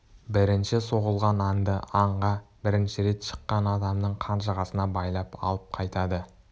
бірінші соғылған аңды аңға бірінші рет шыққан адамның қанжығасына байлап алып қайтады